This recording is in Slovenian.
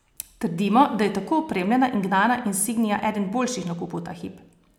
Trdimo, da je tako opremljena in gnana insignia eden boljših nakupov ta hip.